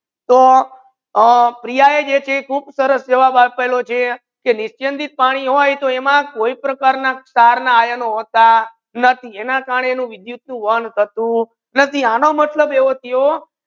તો પ્રિયા યે જે કેહ ખૂબ સરસ જવાબ આપલો છે નિસ્યંદિત પાની હોય તો એમા કોઈ પણ પ્રકાર ના સાર ના આયનો હોતા નથી એનાથી એના કરને વિદ્યુત નુ વહન થતુ નથી